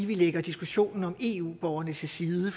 vi lægger diskussionen om eu borgerne til side